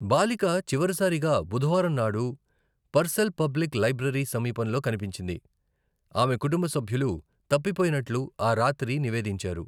బాలిక చివరిసారిగా బుధవారం నాడు పర్సెల్ పబ్లిక్ లైబ్రరీ సమీపంలో కనిపించింది, ఆమె కుటుంబ సభ్యులు, తప్పిపోయినట్లు ఆ రాత్రి నివేదించారు.